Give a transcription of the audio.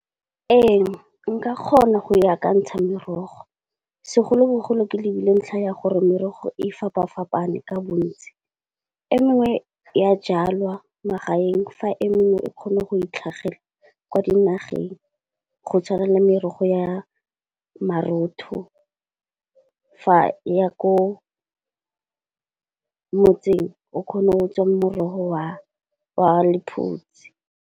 Ee nka kgona go ya ka ntsha merogo, segolo-bogolo ke lebile ntlha ya gore merogo e fapafapane ka bontsi. E mengwe ya jalwa magaeng fa e mengwe e kgona go itlhagela kwa dinageng. Go tshwana le merogo ya marotho, fa e ya ko motseng o kgone o tswang morogo wa wa lephutsi.